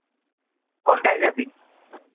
কোনটায় যাবি?